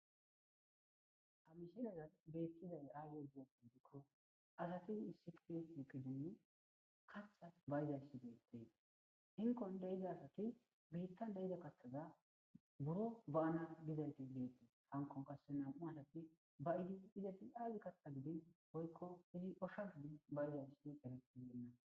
Ha missilezan bettizay azze gizayssa giddiko asti issippe shiqqidinne kaththa ba'izayssi bettes hinkkon deiza assati biitan deiza kaththaza buuro ba'anas gizaysi dess hankko qassi nam'u adati ba'idi izzeti aybba kaththa giddin woykko osha giddin baidaysdi eretibeyna.